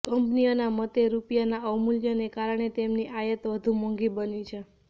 કંપનીઓના મતે રૂપિયાના અવમૂલ્યનને કારણે તેમની આયાત વધુ મોંઘી બની છે